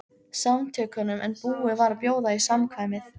Samtökunum en búið var að bjóða í samkvæmið.